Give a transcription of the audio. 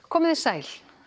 komiði sæl